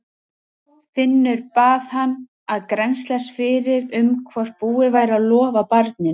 Finnur bað hann að grennslast fyrir um hvort búið væri að lofa barninu.